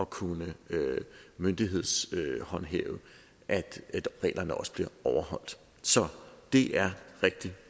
kunne myndighedshåndhæve at reglerne også bliver overholdt så det er rigtig